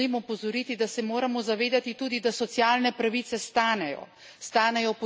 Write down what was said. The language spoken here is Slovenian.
Vendar vas želim opozoriti, da se moramo zavedati tudi, da socialne pravice stanejo.